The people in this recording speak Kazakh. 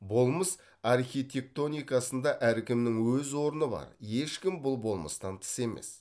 болмыс архитектоникасында әркімнің өз орны бар ешкім бұл болмыстан тыс емес